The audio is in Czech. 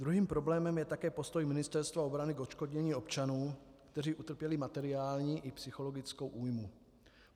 Druhým problémem je také postoj Ministerstva obrany k odškodnění občanů, kteří utrpěli materiální i psychologickou újmu.